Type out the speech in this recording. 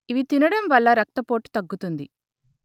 ఇవి తినడం వల్ల రక్తపోటు తగ్గుతుంది